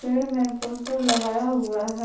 पेड़ में पोस्टर लगाया हुआ है।